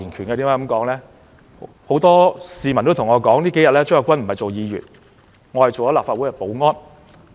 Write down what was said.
原因是很多市民說我這幾天不是當議員，而是做了立法會保安員。